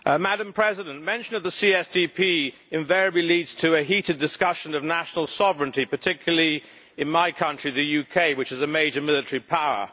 Madam President, mention of the CSDP invariably leads to a heated discussion of national sovereignty, particularly in my country the UK, which is a major military power.